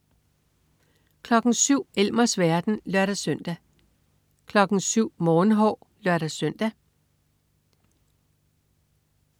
07.00 Elmers verden (lør-søn) 07.00 Morgenhår (lør-søn)